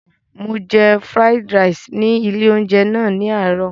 Mo jẹ fúráídí raìsì ní ilé-oúnjẹ náà ní àárọ̀.